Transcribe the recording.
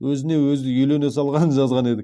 өзіне өзі үйлене салғанын жазған едік